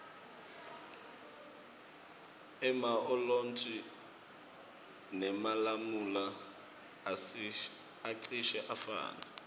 ema olintji nemalamula acishe afane